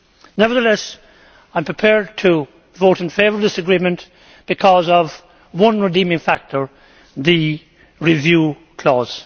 Nevertheless, I am prepared to vote in favour of this agreement because of one redeeming factor the review clause.